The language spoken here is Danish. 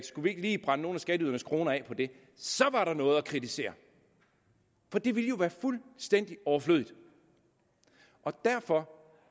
skulle vi ikke lige brænde nogle af skatteydernes kroner af på det så var der noget at kritisere for det ville jo være fuldstændig overflødigt og derfor